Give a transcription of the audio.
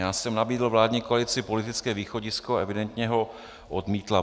Já jsem nabídl vládní koalici politické východisko, evidentně ho odmítla.